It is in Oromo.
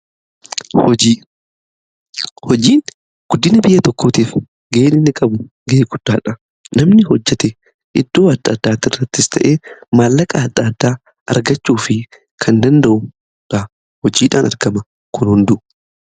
Hojiin guddina biyya tokkootiif ga'ee inni qabu ga'ee guddaadha. Namni hojjete iddoo adda addaa irrattis ta'e maallaqa adda addaa argachuu fi kan danda'udha. Hojiidhaan argaman kun hundumaadha.